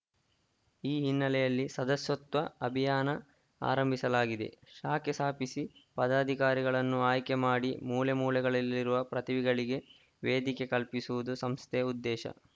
ಈ ಹಿನ್ನೆಲೆಯಲ್ಲಿ ಸದಸತ್ವ ಅಭಿಯಾನ ಆರಂಭಿಸಲಾಗಿದೆ ಶಾಖೆ ಸ್ಥಾಪಿಸಿ ಪದಾಧಿಕಾರಿಗಳನ್ನು ಆಯ್ಕೆ ಮಾಡಿ ಮೂಲೆ ಮೂಲೆಗಳಲ್ಲಿರುವ ಪ್ರತಿಭೆಗಳಿಗೆ ವೇದಿಕೆ ಕಲ್ಪಿಸುವುದು ಸಂಸ್ಥೆ ಉದ್ದೇಶ